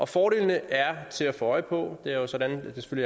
fordelene er til at få øje på det er jo sådan at det